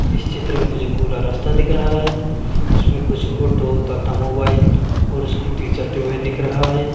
इस चित्र में मुझे कुला रास्ता दिख रहा है उसमें कुछ आटो तथा मोबाइल और स्कूटी चलते हुए दिख रहा है।